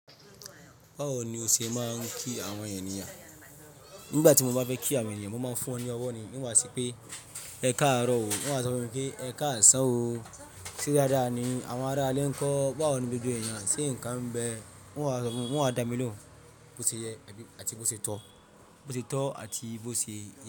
Báwo ni o ṣe máa ń kí àwọn ènìyàn? Nígbà tí mo bá fẹ́ kí àwọn ènìyàn, mo máa ń fún wọn ní ọwọ́ ni. In wa sipé ẹ káàárọ̀ o, in wa sọ fún mi pé ẹ káàsán o. Se dáadáa ni àwọn ará ilé nkọ́? Báwo ni gbogbo èyan ṣe nǹkan ń bẹ? Wọn a sọ fún mi, wọ́n a dà mí lóhùn, bó ṣe yẹ àti bó ṣe tọ́, bó ṣe tọ́ àti bó ṣe yẹ.